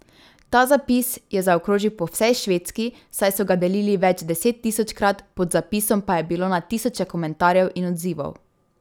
Ta zapis je zaokrožil po vsej Švedski, saj so ga delili več desettisočkrat, pod zapisom pa je bilo na tisoče komentarjev in odzivov.